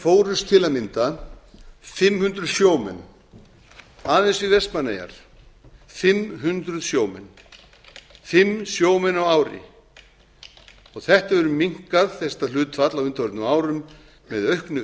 fórust til að mynda fimm hundruð sjómenn aðeins við vestmannaeyjar fimm hundruð sjómenn fimm sjómenn á ári þetta hlutfall hefur minnkað á undanförnum árum með auknu